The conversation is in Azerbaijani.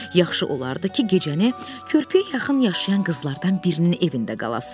Yaxşı olardı ki, gecəni körpüyə yaxın yaşayan qızlardan birinin evində qalasan.